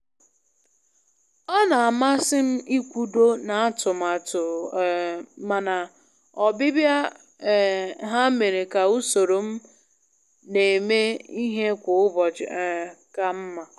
Ọ na-amasị m ịkwudo n'atụmatụ, um mana ọbịbịa um ha mere ka usoro m na-eme ihe kwa ụbọchị um kaa mma.